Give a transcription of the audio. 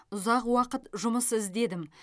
ұзақ уақыт жұмыс іздедім